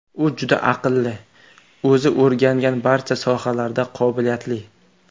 U juda aqlli, o‘zi o‘rgangan barcha sohalarda qobiliyatli.